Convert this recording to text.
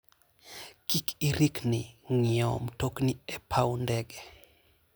Kik irikni ng'iewo mtokni e paw ndege.